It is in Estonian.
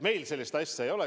Meil sellist asja ei ole.